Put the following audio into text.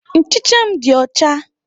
Nchicha m dị ọcha.